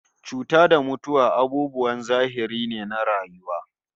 Cuta da mutuwa abubuwan zahiri ne na rayuwa